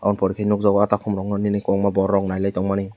aw porti nukjago aata bini koborma borok nailai tongmani.